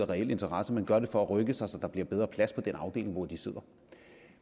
reel interesse men gør det for at rykke sig så der bliver bedre plads på den afdeling hvor de sidder